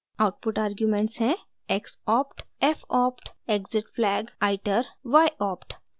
output arguments हैं xopt fopt exitflag iter yopt